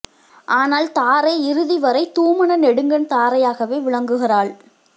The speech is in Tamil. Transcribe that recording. ஆனால் தாரை இறுதி வரை தூமன நெடுங்கண் தாரையாகவே விளங்கு கிறாள்